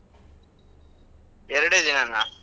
ಎರಡೇ ದಿನನಾ?